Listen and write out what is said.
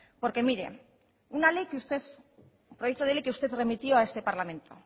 porque mire un proyecto de ley que usted remitió a este parlamento